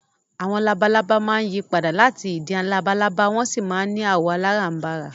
Àwọn labalábá máa ń yí padà láti ìdin labalábá wọ́n sì máa ń ní àwọ̀ aláràǹbarà